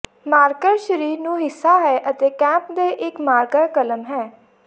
marker ਸਰੀਰ ਨੂੰ ਹਿੱਸਾ ਹੈ ਅਤੇ ਕੈਪ ਦੇ ਇੱਕ ਮਾਰਕਰ ਕਲਮ ਹੈ